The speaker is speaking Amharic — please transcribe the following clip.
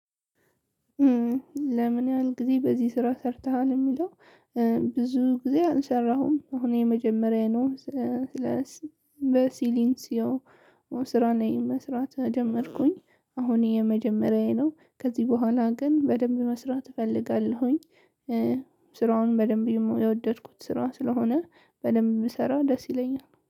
ለምን ያህል ጊዜ በዚህ ስራ ሰርተሃል? የሚለው ብዙ ጊዜ አልሰራሁም። አሁን የመጀመሪያዬ ነው። ስለ በሲሊንሲዮ ስራ እኔ መስራት ጀመርኩኝ አሁን የመጀመሪያዬ ነው ከዚህ በኋላ ግን በደንብ መስራት እፈልጋለሁኝ። ስራውን በደንብ የወደድኩት ስራ ስለሆነ በደንብ ብሰራ ደስ ይለኛል።